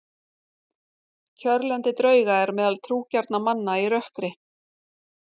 Kjörlendi drauga er meðal trúgjarnra manna í rökkri.